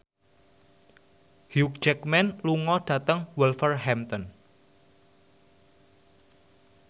Hugh Jackman lunga dhateng Wolverhampton